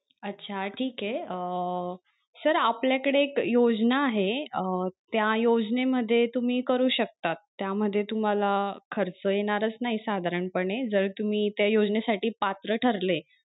अच्छा ठीके अं sir आपल्याकडे एक योजना आहे अं त्या योजने मध्ये तुम्ही करू शकता त्या मध्ये तुम्हाला खर्च येणारच नाही साधारण पणे जर तुम्ही त्या योजनेसाठी पात्र ठरले.